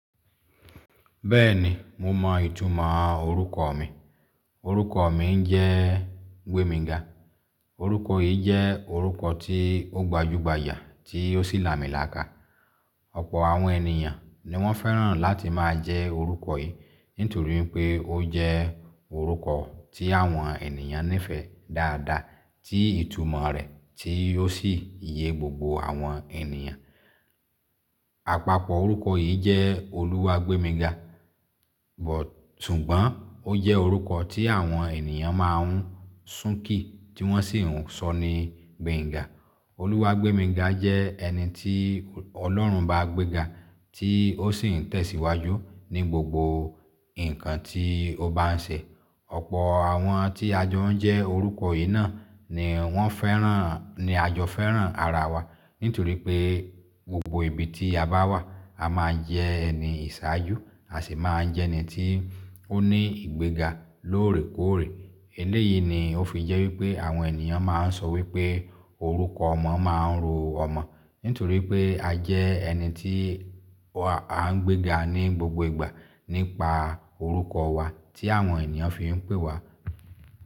Bẹ́ẹ̀ni, mo mọ ìtumọ̀ orúkọ mi. Orúkọ mi jẹ́ Gbèmíga. Orúkọ yìí jẹ́ orúkọ tí ó gbajúgbajà tí ó sì làmìlaka. Ọ̀pọ̀ àwọn ènìyàn ni wọ́n fẹ́ràn láti máa jẹ́ orúkọ yìí nítorí pé ó jẹ́ orúkọ tí àwọn ènìyàn nífẹ̀ẹ́ dáadáa tí ìtumọ̀ rẹ̀ tí ó sì iye gbogbo àwọn ènìyàn. Àpapọ̀ orúkọ yìí jẹ́ Oluwagbèmíga, súngbọ̀n ó jẹ́ orúkọ tí àwọn ènìyàn ma ń sùn kí tí wọ́n sì ń sọ ní Gbenga. Oluwagbèmíga jẹ́ ẹni tí Ọlọ́run bá gbéga tí ó sì ń tẹ̀síwájú ní gbogbo nǹkan tí ó bá ń ṣe. Ọ̀pọ̀ àwọn tí a jọ ń jẹ́ orúkọ yìí náà ni wọ́n fẹ́ràn, ni a jọ fẹ́ràn ara wa nítorí pé gbogbo ibi tí a bá wà, a máa jẹ́ ẹni ìṣáájú, a sì máa jẹ́ ẹni tí ó ní ìgbéga lóòrèkóòrè. Eléyìí ni ó fi jẹ́ wípé àwọn ènìyàn máa ń sọ wípé orúkọ ọmọ máa ń ro ọmọ. Nítorí pé a jẹ́ ẹni tí a ń gbéga ní gbogbo ìgbà nípa orúkọ wa tí àwọn ènìyàn fi ń pè wa.